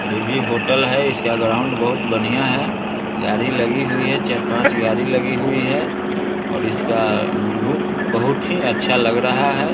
ये भी होटल है इसका ग्राउंड बहुत बनिया है| गाड़ी लगी हुई है चार- पांच गाड़ी लगी हुई है और इसका लुक बहुत ही अच्छा लग रहा है।